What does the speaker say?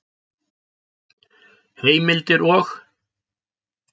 Heimildir og